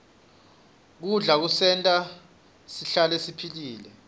kudla kusenta sihlale siphilile